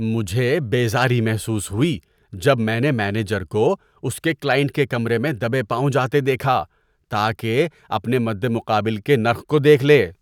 مجھے بیزاری محسوس ہوئی جب میں نے مینیجر کو اس کے کلائنٹ کے کمرے میں دبے پاؤں جاتے دیکھا تاکہ اپنے مدمقابل کے نرخ کو دیکھ لے۔